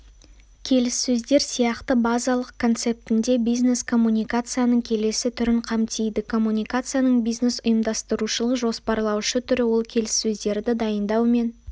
келіссөздер сияқты базалық концептінде бизнес-коммуникацияның келесі түрін қамтиды коммуникацияның бизнес-ұйымдастырушылық-жоспарлаушы түрі ол келіссөздерді дайындау мен